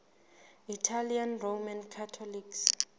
italian roman catholics